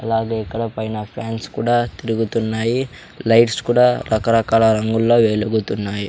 అలాగే ఇక్కడ పైన ఫాన్స్ కూడా తిరుగుతున్నాయి లైట్స్ కూడా రకరకాల రంగుల్లో వెలుగుతున్నాయి.